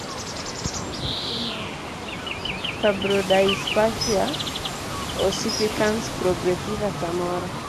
ere kaka tuo mar firbrodyspasia ossificans progressiva samoro